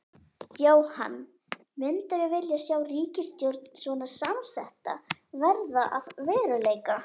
Jóhann: Myndirðu vilja sjá ríkisstjórn svona samsetta verða að veruleika?